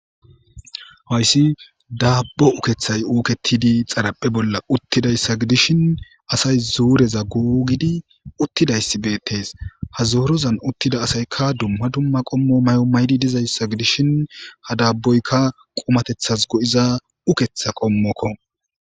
Haysi dabbo ukketay uketidi xaraphpheza bolla uttida issa gidishin, asay zuureza googidi uttida issi bettees. Ha zoorozan uttida asayka dumma dumma qommo mayo mayidi diya issa gidishin, ha dabboyka qummatetasi go'iza ukketa qommoko.